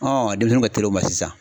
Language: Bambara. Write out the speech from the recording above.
Ɔn denmisɛnnuw ka tel'o ma sisan